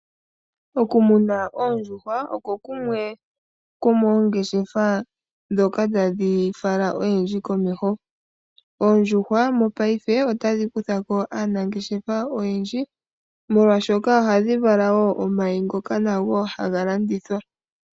Okumuna oondjuhwa oko kumwe komoongeshefa ndhoka tadhi fala oyendji komeho. Oondjuhwa mopaife otadhi kutha ko aanangeshefa oyendji molwaashoka ohadhi vala omayi ngoka nago haga landithwa.